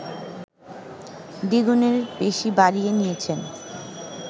দ্বিগুণের বেশি বাড়িয়ে নিয়েছেন